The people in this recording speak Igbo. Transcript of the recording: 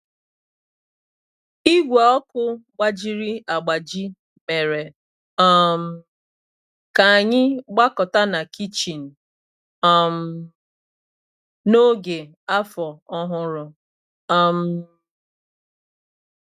Igwe ọkụ gbajiri agbaji mere um ka anyị gbakọta na kichin um n'oge Afọ Ọhụrụ um